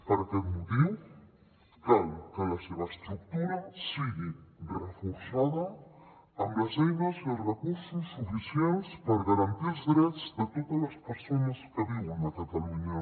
per aquest motiu cal que la seva estructura sigui reforçada amb les eines i els recursos suficients per garantir els drets de totes les persones que viuen a catalunya